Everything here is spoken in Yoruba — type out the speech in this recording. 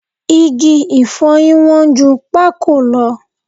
Igi ìfọyín wọ́n ju pákò lọ